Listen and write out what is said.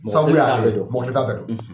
Sabula mɔgɔ kelen t'ale dɔn, mɔgɔ kelen t'a bɛɛ dɔn,